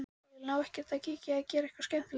Elín: Á ekkert að kíkja og gera eitthvað skemmtilegt?